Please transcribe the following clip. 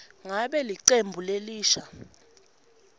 ngabe licembu lelisha